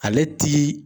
Ale ti